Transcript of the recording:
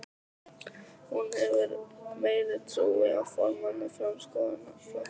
Hefur hún meiri trú á formanni Framsóknarflokksins?